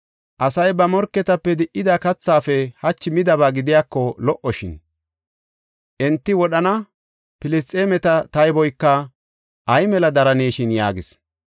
Asay ba morketape di77ida kathaafe hachi midaba gidiyako lo77oshin; enti wodhana Filisxeemeta tayboyka ay mela daraneshin” yaagis.